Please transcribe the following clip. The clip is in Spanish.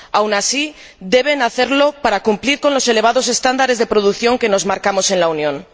aun así, debe hacerlo para cumplir con los elevados estándares de producción que nos marcamos en la Unión.